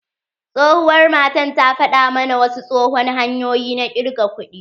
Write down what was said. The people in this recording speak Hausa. Tsohuwar matan ta faɗa mana wasu tsohon hanyoyi na ƙirga kuɗi.